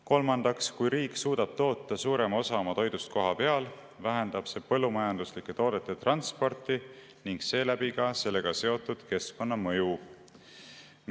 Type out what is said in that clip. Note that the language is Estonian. Kolmandaks, kui riik suudab toota suurema osa oma toidust kohapeal, vähendab see põllumajandustoodete transporti ning seeläbi ka sellega seotud keskkonnamõju.